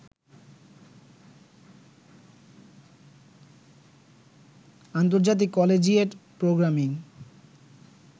আন্তর্জাতিক collegiate programming